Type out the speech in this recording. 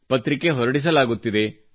ಪತ್ರಿಕೆ ಹೊರಡಿಸಲಾಗುತ್ತಿದೆ